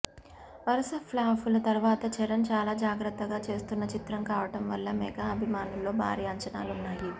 వరుస ఫ్లాపుల తరువాత చరణ్ చాలా జాగ్రత్తగా చేస్తున్న చిత్రం కావడం వల్ల మెగా అభిమానుల్లో భారీ అంచనాలున్నాయి